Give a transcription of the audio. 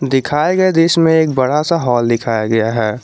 दिखाए गए दृश्य में एक बड़ा सा हॉल दिखाया गया है।